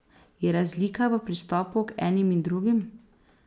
Je razlika v pristopu k enim in drugim?